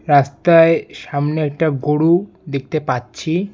রাস্তায় সামনে একটা গরু দেখতে পাচ্ছি।